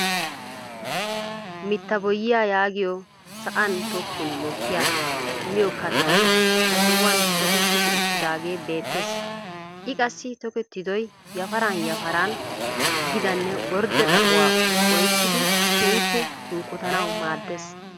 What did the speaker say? Mitta boyiyaa yaagiyoo sa'an tokkin mokkiyaa miyoo kattay ha sohuwaan toketti uttaagee bettees. i qassi tokettidoy yafaran yafaran gidaagee ordde xaphphuwaa oykkidi keehippe unkkotanawu maaddees.